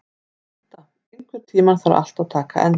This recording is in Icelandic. Inda, einhvern tímann þarf allt að taka enda.